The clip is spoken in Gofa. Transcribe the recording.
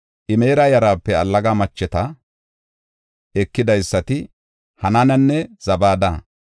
Imera yarape Allaga macheta ekidaysati Hanaananne Zabada.